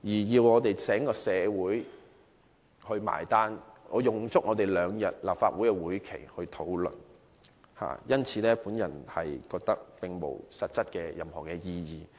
要整個社會"埋單"，用立法會兩天時間進行討論，我認為並無任何實質意義。